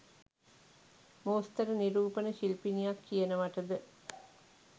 මෝස්තර නිරූපන ශිල්පිනියක් කියනවටද?